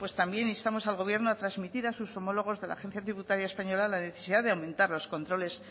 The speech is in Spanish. también instamos al gobierno a transmitir a sus homólogos de la agencia tributaria española la necesidad de aumentar los controles